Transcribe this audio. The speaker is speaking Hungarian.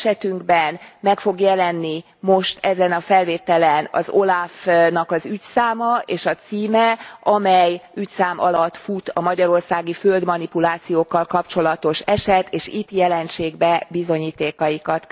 Esetünkben meg fog jelenni most ezen a felvételen az OLAF nak az ügyszáma és a címe, amely ügyszám alatt fut a magyarországi földmanipulációkkal kapcsolatos eset, és itt jelentsék be bizonyítékaikat.